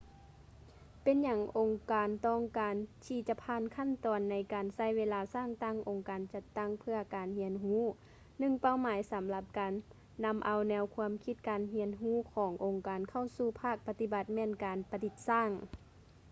ເປັນຫຍັງອົງການຕ້ອງການທີ່ຈະຜ່ານຂັ້ນຕອນໃນການໃຊ້ເວລາສ້າງຕັ້ງອົງການຈັດຕັ້ງເພື່ອການຮຽນຮູ້ ໜຶ່ງເປົ້າໝາຍສຳລັບການນຳເອົາແນວຄວາມຄິດການຮຽນຮູ້ຂອງອົງການເຂົ້າສູ່ພາກປະຕິບັດແມ່ນການປະດິດສ້າງ